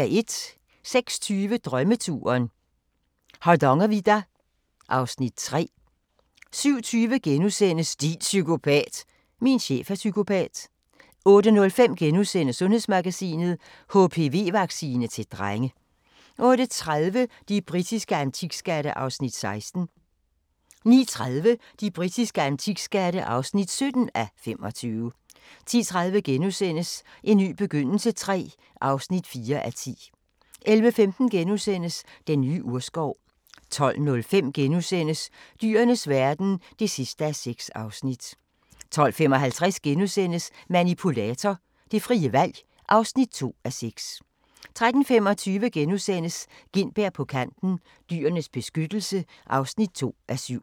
06:20: Drømmeturen - Hardangervidda (Afs. 3) 07:20: Din psykopat! – Min chef er psykopat * 08:05: Sundhedsmagasinet: HPV-vaccine til drenge * 08:30: De britiske antikskatte (16:25) 09:30: De britiske antikskatte (17:25) 10:30: En ny begyndelse III (4:10)* 11:15: Den nye urskov * 12:05: Dyrenes verden (6:6)* 12:55: Manipulator – det frie valg (2:6)* 13:25: Gintberg på Kanten – Dyrenes Beskyttelse (2:7)*